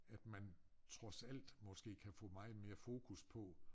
At man trods alt måske kan få meget mere fokus på